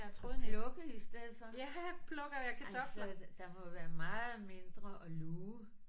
At plukke i stedet for. Ej så der må være meget mindre at luge